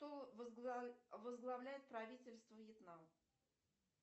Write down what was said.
кто возглавляет правительство вьетнам